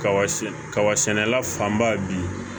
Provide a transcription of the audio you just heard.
Kaba kaba sɛnɛ fanba bi